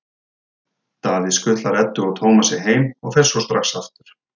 Davíð skutlar Eddu og Tómasi heim og fer svo strax aftur.